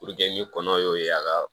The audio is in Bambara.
ni kɔnɔ y'o ye a ka